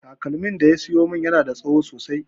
Takalmin da ya siyo min yana da tsaho sosai